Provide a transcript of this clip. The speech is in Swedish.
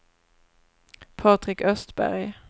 Patrik Östberg